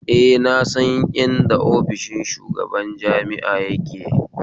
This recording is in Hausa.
Eh na san inda ofishin shugaban jami'a yake